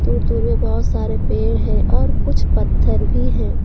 दूर दूर में बहुत सारे पेड़ हैं और कुछ पत्थर भी हैं।